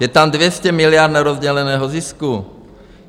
Je tam 200 miliard nerozděleného zisku.